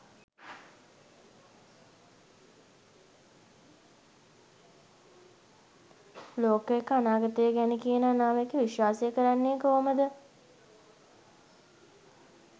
ලෝකයක අනාගතය ගැන කියන අනාවැකි විශ්වාස කරන්නෙ කෝමද?